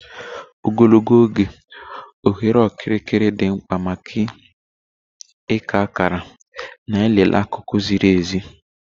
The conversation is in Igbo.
Ogologo oge, oghere okirikiri dị mkpa maka ịka akara na ịlele akụkụ ziri ezi.